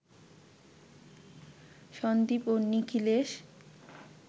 সন্দীপ ও নিখিলেশ